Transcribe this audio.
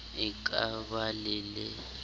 e ka ba le le